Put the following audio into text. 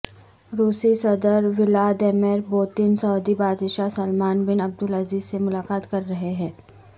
روسی صدر Vladimir Putin سعودی بادشاہ سلمان بن عبدالعزیز سے ملاقات کر رہے ہیں